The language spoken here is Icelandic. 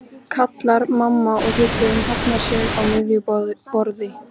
kallar mamma og hryggurinn hafnar sig á miðju borði.